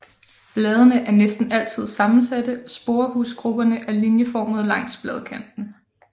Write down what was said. Bladene er næsten altid sammensatte og sporehusgrupperne er linjeformede langs bladkanten